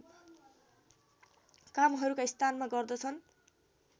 कामहरूका स्थानमा गर्दछन्